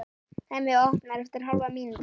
Hemmi opnar eftir hálfa mínútu.